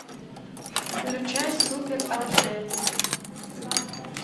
включай супер аш дэ